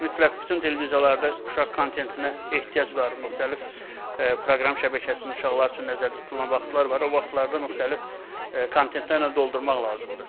Mütləq bütün televiziyalarda uşaq kontentinə ehtiyac var, müxtəlif proqram şəbəkəsində uşaqlar üçün nəzərdə tutulan vaxtlar var, o vaxtlarda müxtəlif kontentlərlə doldurmaq lazımdır.